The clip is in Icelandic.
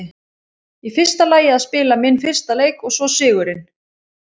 Í fyrsta lagi að spila minn fyrsta leik og svo sigurinn.